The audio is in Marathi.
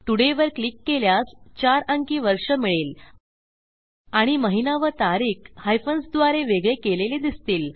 todayवर क्लिक केल्यास चार अंकी वर्ष मिळेल आणि महिना व तारीख हायफन्स द्वारे वेगळे केलेले दिसतील